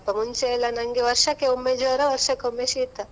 ಮುಂಚೆ ಎಲ್ಲಾ ನಂಗೆ ವರ್ಷಕ್ಕೆ ಒಮ್ಮೆ ಜ್ವರ, ವರ್ಷಕ್ಕೆ ಒಮ್ಮೆ ಶೀತ.